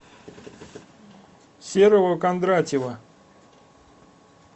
серого кондратьева